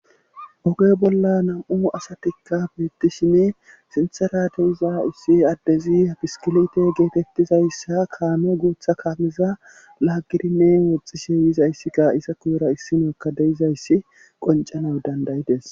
Oge bolla nam'u asatikka beettishini sintherateza ussi addezi hapiskilite geetettizayssa kaano guutha kaamiza laagidinne woxxishe yizayssikka isa kuyura issimakka deizayssi qoncana dandayides.